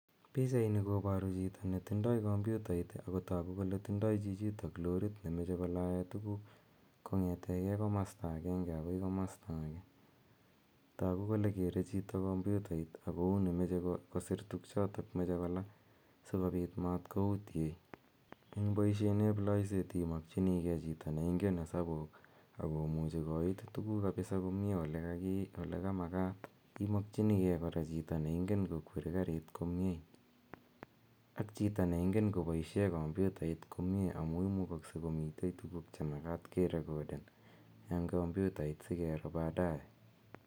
Pichani koparu chito ne tindai kompyutait ako paru kole tindai loriit ne mache ko lae tuguuk kong'etegei komasta agenge akoi komasta age. Tagu kole kere chito kompyutait ako uni mache kosir tugchotok mache ko laa si kopit matkoutiei. Eng' poishonep laiseet imakchinigei chito ne ingen hesabuuk ako muchi koiit tuguuk kapisa komye ole makat. Imakchinigei kora chito neingen kokweri karit komye ak chito ne ingen kopaishe kompyutait komye amu imukakse komitei tuguuk che makat kerekoden eng' kompyutait si kero badae.